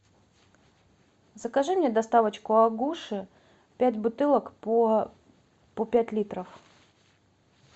закажи мне доставочку агуши пять бутылок по пять литров